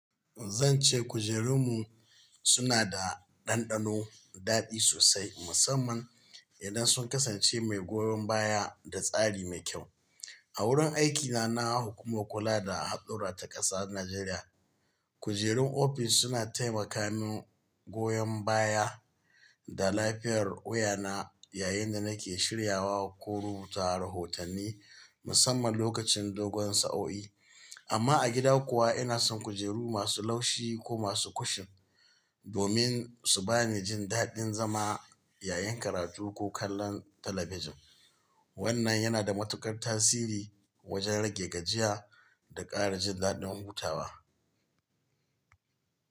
Zan ce kujerunmu suna da dandano daɗi sosai, musamman idan sun kasance mai goyon baya da tsari mai kyau. A wurin aikina na hukumar kula da haɗura ta ƙasa Najeriya, kujerun ofis suna taimaka min goyon baya da lafiyar wuyana yayin da nake shiryawa ko rubuta rahotanni, musamman lokacin dogon sa'o'i. Amma a gida kuwa, ina son kujeru masu laushi ko masu kushin domin su ba ni jin daɗin zama, yayin karatu ko kallon talabijin. Wannan yana da matuƙar tasiri wajen rage gajiya da ƙara jin daɗin hutawa.